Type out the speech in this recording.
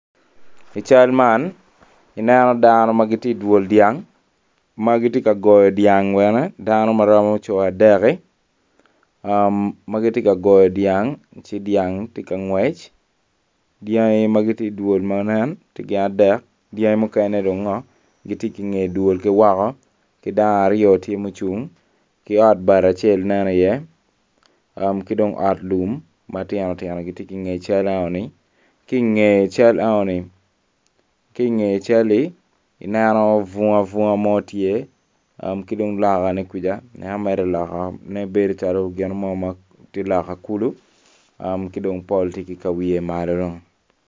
I cal man ineno dano ma tye i dwol dyang ma giti goyo dyang bene danio ma romo adekki ah ma giti ka goyo dyang ci dyang ti ka ngwec dyanggi ma giti i dwol ma nen giti gin adek dyangi mukene dung ngo giti ki inge dwol ki woko ki dano aryo ti mucung ki ot bati acel nen iye ah ki dong ot lum matino tino giti ki inge cal eno ni ki i nge cal eno ni ki inge calli ineno bunga bunga mo tye ah ki dong lokkane kuja ineno mere lokkane bedo calo gino mo ti lokkane kulu ah ki dong pol ti ki ka wiye malo dong